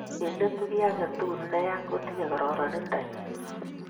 eng' letu kiy age tugul ne ya kotinyei kararanndo nyin